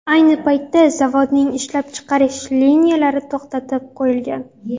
Ayni paytda zavodning ishlab chiqarish liniyalari to‘xtatib qo‘yilgan.